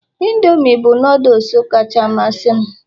indomie bụ noodles kacha amasị m